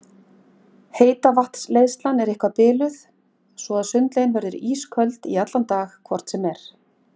Heitavatnsleiðslan er eitthvað biluð svo að sundlaugin verður ísköld í allan dag hvort sem er.